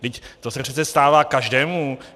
Vždyť to se přece stává každému!